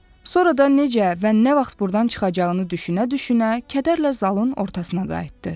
Sonra da necə və nə vaxt burdan çıxacağını düşünə-düşünə kədərlə zalın ortasına qayıtdı.